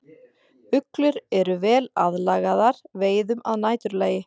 Uglur eru vel aðlagaðar veiðum að næturlagi.